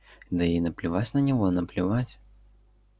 да ей наплевать на него наплевать